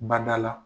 Badala